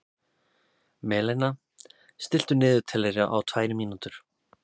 Malena, stilltu niðurteljara á tvær mínútur.